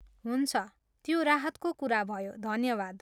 हुन्छ, त्यो राहतको कुरा भयो, धन्यवाद!